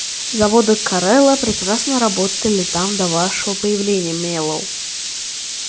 заводы корела прекрасно работали там до вашего появления мэллоу